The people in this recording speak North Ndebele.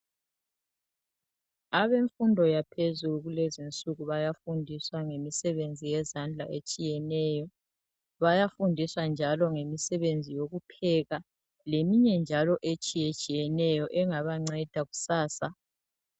Abemfundo yaphezulu kulezinsuku bayafundiswa ngemisebenzi yezandla etshiyeneyo, bayafundiswa njalo ngemisebenzi yokupheka leminye njalo etshiye tshiyeneyo engabanceda kusasa.